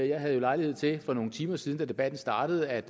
jeg havde jo lejlighed til for nogle timer siden da debatten startede at